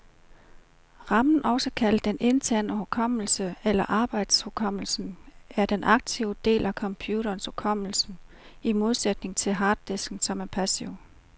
Ramen, også kaldet den interne hukommelse eller arbejdshukommelsen, er den aktive del af computerens hukommelse, i modsætning til harddisken, som er passiv.